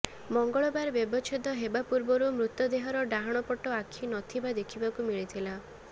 ମଙ୍ଗଳବାର ବ୍ୟବଚ୍ଛେଦ ହେବା ପୂର୍ବରୁ ମୃତଦେହର ଡାହାଣ ପଟ ଆଖି ନ ଥିବା ଦେଖିବାକୁ ମିଳିଥିଲା